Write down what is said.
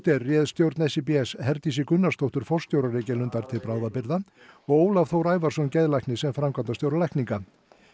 er réð stjórn Herdísi Gunnarsdóttur forstjóra Reykjalundar til bráðabirgða og Ólaf Þór Ævarsson geðlækni sem framkvæmdastjóra lækninga